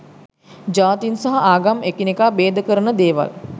ජාතින් සහ ආගම් එකිනෙකා බේදකරන දේවල්.